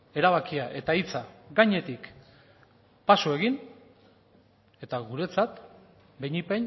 erabakia eta hitza gainetik paso egin eta guretzat behinik